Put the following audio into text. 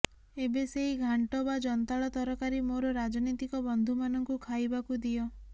ଏବେ ସେଇ ଘାଣ୍ଟ ବା ଜନ୍ତାଳ ତରକାରି ମୋର ରାଜନୀତିକ ବନ୍ଧୁମାନଙ୍କୁ ଖାଇବାକୁ ଦିଅ